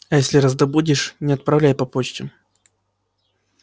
а если раздобудешь не отправляй по почте